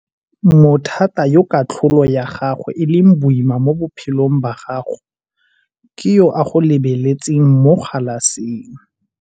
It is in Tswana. Mothata yo katlholo ya gagwe e leng boima mo bophelong ba gago ke yo a go lebeletseng mo galaseng.